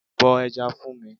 Bọ ẹja fún mi.